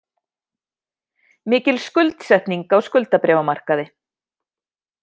Mikil skuldsetning á skuldabréfamarkaði